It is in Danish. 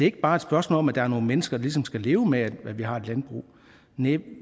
ikke bare et spørgsmål om at der er nogle mennesker der ligesom skal leve med at vi har et landbrug næh